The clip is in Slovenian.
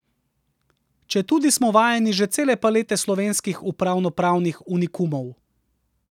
Četudi smo vajeni že cele palete slovenskih upravnopravnih unikumov.